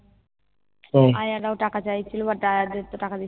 আয়ারাও টাকা চাইছিলো but আয়াদের তো টাকা